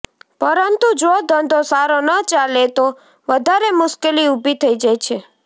પરંતુ જો ધંધો સારો ન ચાલે તો વધારે મુશ્કેલી ઊભી થઈ જાય છે